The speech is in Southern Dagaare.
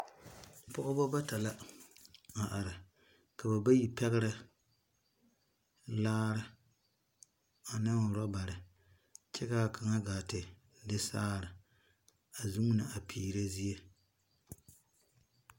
Pɔgba bata la a arẽ ka ba bayi pegrɛ laare ane rubarii kye ka kanga gaa te de saare a zunni a peere zie.